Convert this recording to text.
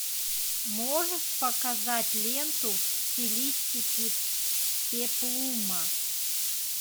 можешь показать ленту в стилистике пеплума